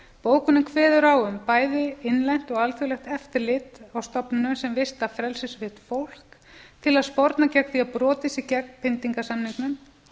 bókunin kveður á um bæði innlent og alþjóðlegt eftirlit frá stofnunum sem vista frelsissvipt fólk til að sporna gegn því að brotið sé gegn pyndingarsamningnum bókunin